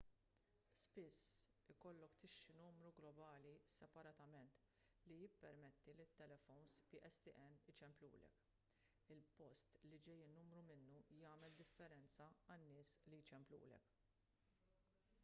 spiss ikollok tixtri numru globali separatament li jippermetti lit-telefowns pstn iċemplulek il-post li ġej in-numru minnu jagħmel differenza għan-nies li jċemplulek